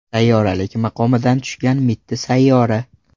Sayyoralik maqomidan tushgan mitti sayyora.